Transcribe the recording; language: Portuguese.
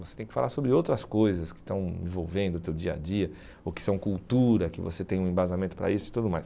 Você tem que falar sobre outras coisas que estão envolvendo o teu dia a dia, ou que são cultura, que você tem um embasamento para isso e tudo mais.